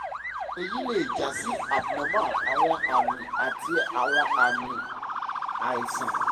eyi le ja si abnormal awọn ami ati awọn aami aisan